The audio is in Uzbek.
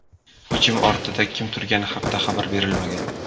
Hujum ortida kim turgani haqida xabar berilmagan.